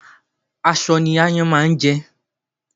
Aṣọ ní ááyán máa ń jẹ